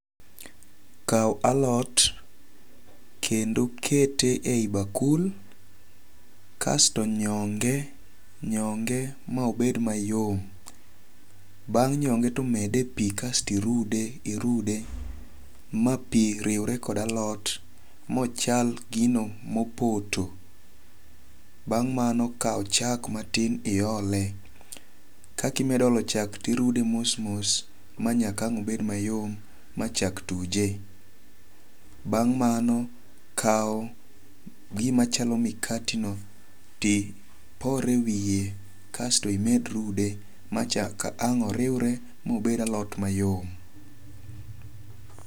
Kaw alot kendo kete e yi bakul. Kasto nyonge nyonge ma obed mayom. Bang' nyonge to mede pi kasto irude irude ma pi riwre kod alot mochal gino mopoto. Bang' mano kaw chak matin iole. Kakimedo olo chak ti rude mos mos ma nyaka ang' obed mayom ma chak tuje. Bang' mano kaw gima chalo mikati no ti ipor e wiye kasto imed rude ma nyaka ang' oriwre mobed alot mayom.